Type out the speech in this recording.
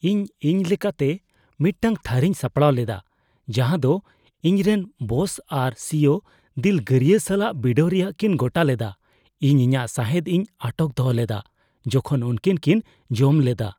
ᱤᱧ ᱤᱧᱞᱮᱠᱟᱛᱮ ᱢᱤᱫᱴᱟᱝ ᱛᱷᱟᱹᱨᱤᱧ ᱥᱟᱯᱲᱟᱣ ᱞᱮᱫᱟ ᱡᱟᱦᱟᱸ ᱫᱚ ᱤᱧᱨᱮᱱ ᱵᱚᱥ ᱟᱨ ᱥᱤᱭᱳ ᱫᱤᱞᱜᱟᱹᱨᱤᱭᱟᱹ ᱥᱟᱞᱟᱜ ᱵᱤᱰᱟᱹᱣ ᱨᱮᱭᱟᱜ ᱠᱤᱱ ᱜᱚᱴᱟ ᱞᱮᱫᱟ ᱾ ᱤᱧ ᱤᱧᱟᱹᱜ ᱥᱟᱦᱮᱫ ᱤᱧ ᱟᱴᱚᱠ ᱫᱚᱦᱚ ᱞᱮᱫᱟ ᱡᱚᱠᱷᱚᱱ ᱩᱱᱠᱤᱱ ᱠᱤᱱ ᱡᱚᱢ ᱞᱮᱫᱟ ᱾